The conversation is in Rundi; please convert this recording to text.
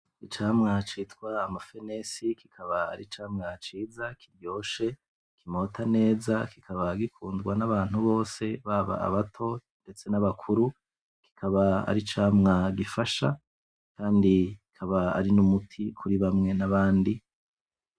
Icamwa citwa amafenesi kikaba ari icamwa ciza kiryoshe, kimota neza ,kikaba gikundwa n'abantu bose ,baba abato ndetse n'abakuru ,kikaba aricamwa gifasha kandi akaba ari n'umuti kuri bamwe n'abandi.